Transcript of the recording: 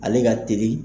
Ale ka teli